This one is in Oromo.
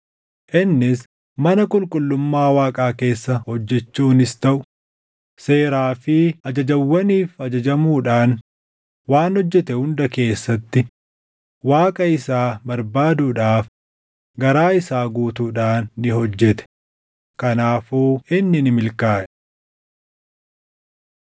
Innis mana qulqullummaa Waaqaa keessa hojjechuunis taʼu, seeraa fi ajajawwaniif ajajamuudhaan waan hojjete hunda keessatti Waaqa isaa barbaaduudhaaf garaa isaa guutuudhaan ni hojjete; kanaafuu inni ni milkaaʼe.